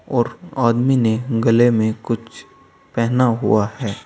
और आदमी ने गले में कुछ पहना हुआ है।